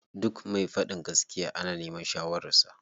Duk me faɗin gaskiya ana neman shawarar sa.